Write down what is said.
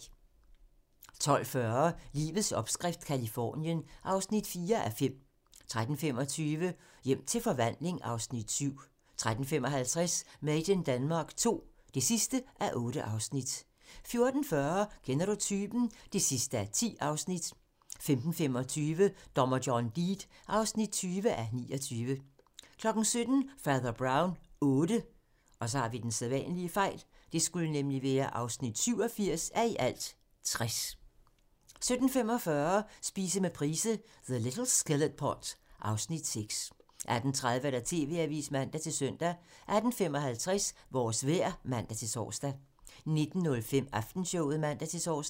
12:40: Livets opskrift - Californien (4:5) 13:25: Hjem til forvandling (Afs. 7) 13:55: Made in Denmark II (8:8) 14:40: Kender du typen? (10:10) 15:25: Dommer John Deed (20:29) 17:00: Fader Brown VIII (87:60) 17:45: Spise med Price - The little skillet pot (Afs. 6) 18:30: TV-avisen (man-søn) 18:55: Vores vejr (man-tor) 19:05: Aftenshowet (man-tor)